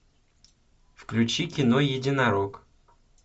включи кино единорог